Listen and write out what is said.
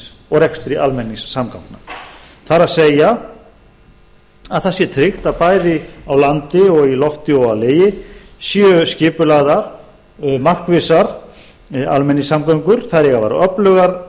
og rekstri almenningssamgangna það er það sé tryggt að bæði á landi í lofti og á legi séu skipulagðar markvissar almenningssamgöngur þær eiga að vera öflugar